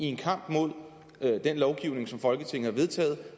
i en kamp mod den lovgivning som folketinget har vedtaget